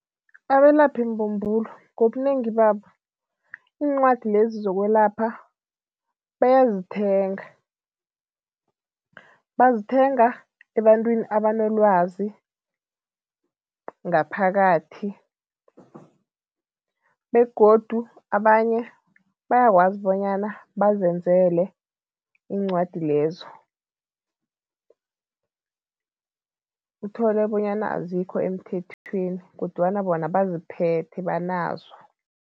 Abelaphimbumbulo ngobunengi babo, iincwadi lezi zokwelapha bayazithenga. Bazithenga ebantwini abanolwazi ngaphakathi begodu abanye bayakwazi bonyana bazenzele iincwadi lezo, uthole bonyana azikho emthethweni kodwana bona baziphethe, banazo.